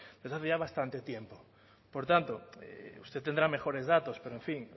desde hace ya bastante tiempo por tanto usted tendrá mejores datos pero en fin